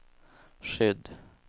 skydd